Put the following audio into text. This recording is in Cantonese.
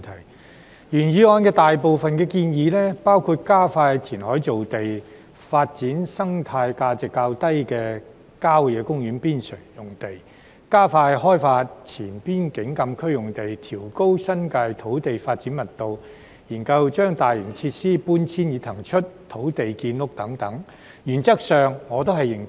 對於原議案所載的大部分建議，包括加快填海造地、發展生態價值較低的郊野公園邊陲用地、加快開發前邊境禁區用地、調高新界土地發展密度、研究將大型設施搬遷以騰出土地建屋等，原則上我都認同。